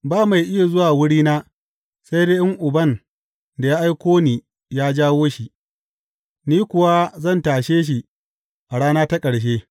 Ba mai iya zuwa wurina, sai dai in Uban da ya aiko ni ya jawo shi, ni kuwa zan tashe shi a rana ta ƙarshe.